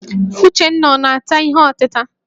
Uchenna ọ na-ata ihe ọtịta?